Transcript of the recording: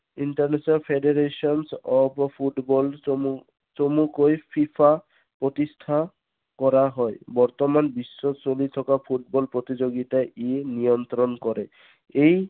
এই international federation of football চমু চমুকৈ ফিফা প্ৰতিষ্ঠা কৰা হয়। বৰ্তমান বিশ্বত চলি থকা ফুটবল প্ৰতিযোগিতা ই নিয়ন্ত্ৰণ কৰে। ই